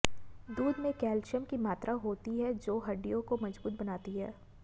दूध में कैल्शियम की मात्रा होती है जो हड्डियों को मजबूत बनाती है